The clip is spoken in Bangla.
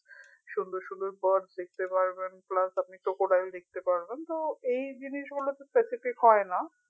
সুন্দর সুন্দর birds দেখতে পারবেন plus আপনি crocodile দেখতে পারবেন তো এই জিনিসগুলোতো specific হয় না